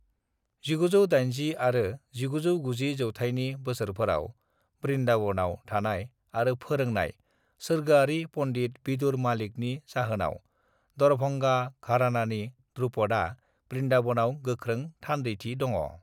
1980 आरो 1990 जौथाइनि बोसोरफोराव वृन्दावनाव थानाय आरो फोरोंनाय सोरगोआरी पनडित विदुर मलिकनि जाहोनाव दरभंगा घरानानि ध्रुपदआ वृन्दावनाव गोख्रों थानदैथि दङ'।